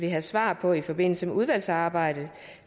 have svar på i forbindelse med udvalgsarbejdet